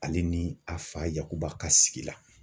Ale ni a fa yakuba ka sigi la.